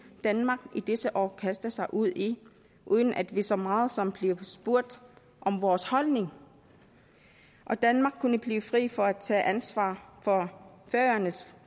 danmark i disse år kaster sig ud i uden at vi så meget som bliver spurgt om vores holdning og danmark kunne blive fri for at tage ansvar for færøernes